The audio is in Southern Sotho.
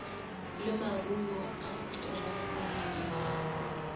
le maruo a terasete ya